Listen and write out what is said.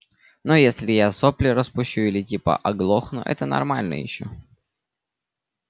ну если я сопли распущу или типа оглохну это нормально ещё